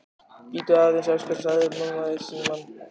Bíddu aðeins, elskan, sagði mamma í símann.